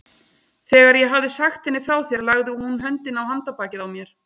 Þegar ég hafði sagt henni frá þér lagði hún höndina á handarbakið á mér.